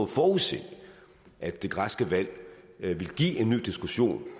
forudse at det græske valg vil give en ny diskussion